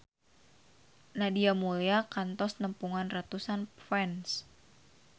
Nadia Mulya kantos nepungan ratusan fans